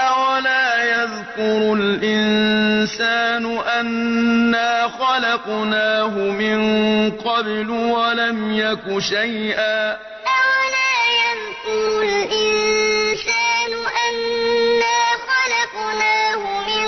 أَوَلَا يَذْكُرُ الْإِنسَانُ أَنَّا خَلَقْنَاهُ مِن قَبْلُ وَلَمْ يَكُ شَيْئًا أَوَلَا يَذْكُرُ الْإِنسَانُ أَنَّا خَلَقْنَاهُ مِن